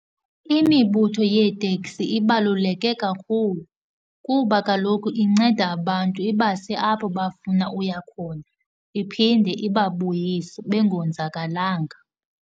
Imibutho yeeteksi ibaluleke kakhulu kuba kaloku inceda abantu, ibase apho bafuna uya khona, iphinde ibabuyise bengonzakalanga.